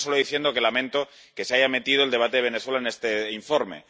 Termino solo diciendo que lamento que se haya metido el debate de Venezuela en este informe.